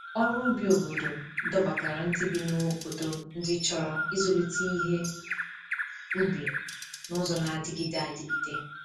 Ọrụ ubi obodo dọbatara ndị bi n’obodo ndị chọrọ ịzụlite ihe ubi n’ụzọ na-adịgide adịgide.